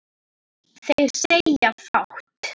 Þeir segja fátt